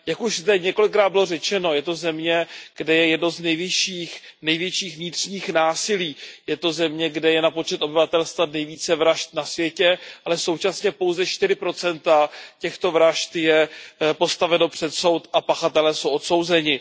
Jak už zde několikrát bylo řečeno, je to země, kde je jedno z největších vnitřních násilí, je to země, kde je na počet obyvatelstva nejvíce vražd na světě, ale současně se pouze čtyři procenta těchto vražd dostanou před soud a pachatelé jsou odsouzeni.